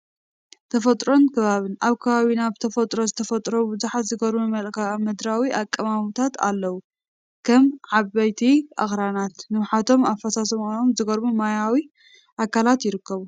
ተፈጥሮን ከባብን፡- ኣብ ከባቢና ብተፈጥሮ ዝተፈጠሩ ብዙሓት ዝገርሙ መልክኣ ምድራዊ ኣቀማምታት ኣለው፡፡ ከም ዓበይቲ ኣኽራናት፣ ንውሓቶምን ኣፈሳስሶኦምን ዝገርሙ ማያዊ ኣካላትን ይርከቡ፡፡